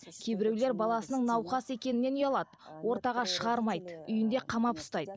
кейбіреулер баласының науқас екенінен ұялады ортаға шығармайды үйінде қамап ұстайды